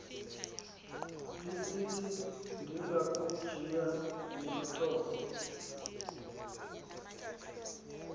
lisithi ndingakujiya nothovo